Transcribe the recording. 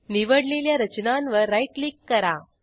निवडलेल्या रचनांवर right click करा